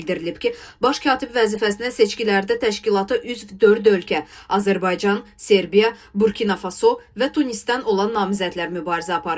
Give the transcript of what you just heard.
Bildirilib ki, baş katib vəzifəsinə seçkilərdə təşkilata üzv dörd ölkə – Azərbaycan, Serbiya, Burkina Faso və Tunisdən olan namizədlər mübarizə aparıb.